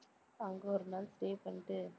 அங்க ஒரு நாள் stay பண்ணிட்டு